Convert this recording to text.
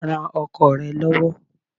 Ran ọkọ rẹ lọ́wọ́.